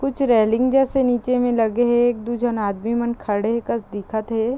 कुछ रेलिंग जैसे नीचे में लगे हे एकदू झन आदमी मन खड़े कस दिखत हे ।